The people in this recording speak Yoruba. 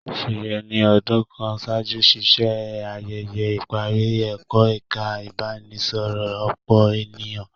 Sheye ni ọdun kàn ṣáájú ṣiṣe ayẹyẹ ìparí ẹkọ ẹka ibaraẹnisọrọ ọpọ ènìyàn.